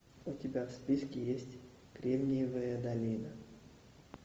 у тебя в списке есть кремниевая долина